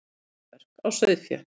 Eyrnamörk á sauðfé.